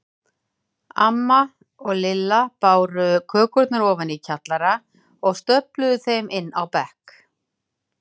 Amma og Lilla báru kökurnar ofan í kjallara og stöfluðu þeim inn á bekk.